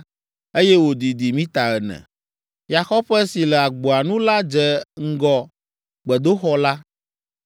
eye wòdidi mita ene. Yaxɔƒe si le agboa nu la dze ŋgɔ gbedoxɔ la.